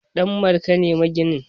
Danmarka ne maginin